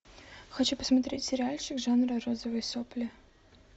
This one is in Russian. хочу посмотреть сериальчик жанра розовые сопли